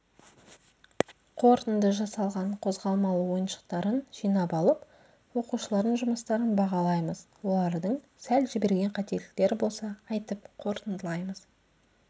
қорытынды жасалған қозғалмалы ойыншықтарын жинап алып оқушылардың жұмыстарын бағалаймыз олардың сәл жіберген қателіктері болса айтып қорытындылаймыз